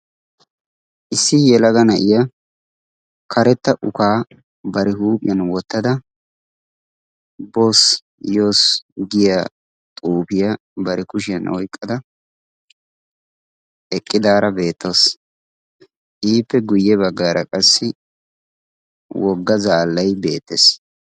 issi yelaga na'iya karetta ukaa bare huuphiyan wottada boss giya xuufiyaa bare kushiyan oyqqada eqqidaara beettoos iippe guyye baggaara qassi wogga zaallay beettees